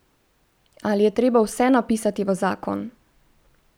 Ali je treba vse napisati v zakon?